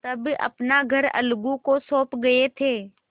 तब अपना घर अलगू को सौंप गये थे